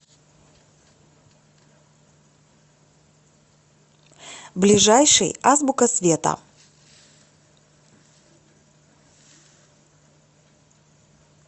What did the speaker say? ближайший азбука света